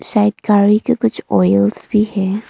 शायद गाड़ी के कुछ आयल्स भी है।